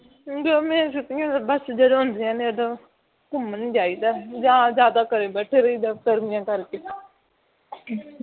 ਗਰਮੀ ਦੀਆਂ ਛੁਟੀਆਂ ਜਦੋਂ ਹੁੰਦੀਆਂ ਨੇ ਘੁੰਮਣ ਜਾਈਦਾ ਹੈ ਜਾਂ ਘਰਿ ਬੈਠੇ ਰਹਿੰਦਾ ਹੈ ਗਰਮੀਆਂ ਕਰਕੇ